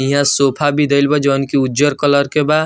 इहाँ सोफा भी धइल बा जोवन की उजर कलर के बा।